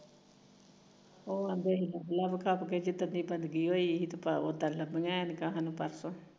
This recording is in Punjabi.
ਓਹ ਆਂਦੇ ਅਸੀਂ ਲੱਭ ਲੱਭ ਥੱਕ ਗਏ ਜਿਦਣ ਦੀ ਲਭੀਆਂ ਐਨਕਾਂ ਪਰਸੋ